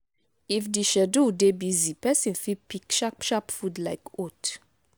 if di schedule dey busy person fit pick sharp sharp food like oat